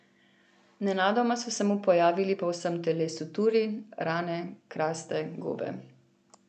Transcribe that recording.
Nenadoma so se mu pojavili po vsem telesu turi, rane, kraste, gobe.